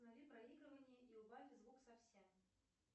останови проигрывание и убавь звук совсем